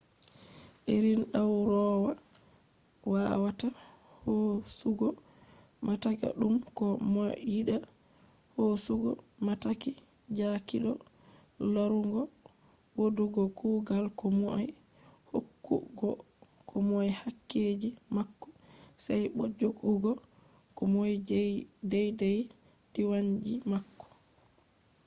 irin ɗawroowa wawata hoosugo mataki ɗum ko mo yiɗa hoosugo mataki jaakiɗo larugo wodugo kugal ko moi hokkugo ko moy kakkeji mako sey bo joggugo ko moy deydey diwanji mako